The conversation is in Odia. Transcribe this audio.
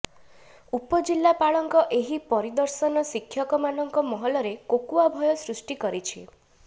ଉପଜିଲାପାଳଙ୍କ ଏହି ପରିଦର୍ଶନ ଶିକ୍ଷକମାନଙ୍କ ମହଲରେ କୋକୁଆ ଭୟ ସୃଷ୍ଟି କରିଛି